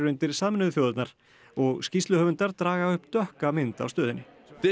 undir Sameinuðu þjóðirnar og skýrsluhöfundar draga upp dökka mynd af stöðunni